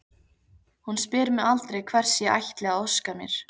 Hún spyr mig aldrei hvers ég ætli að óska mér.